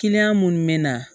minnu bɛ na